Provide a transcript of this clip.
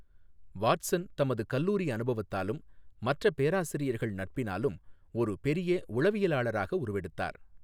Watson தமது கல்லூாி அனுபவத்தாலும் மற்ற பேராசிரியா்கள் நட்பினாலும் ஒரு பொிய உளவியலாளராக உருவெடுத்தாா்.